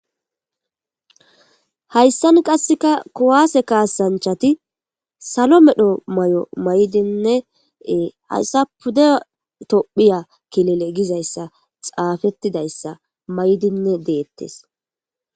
Hayissan qasekka kuwase kasanichchati salo medhdho Mayo mayidinne hayise pude tophphiya kilile Gizayissa xaafetidayissa mayidi detees.